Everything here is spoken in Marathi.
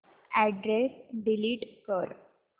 अॅड्रेस डिलीट कर